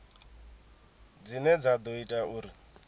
dzine dza ḓo ita uri